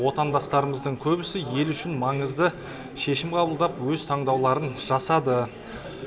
отандастарымыздың көбісі ел үшін маңызды шешім қабылдап өз таңдауларын жасады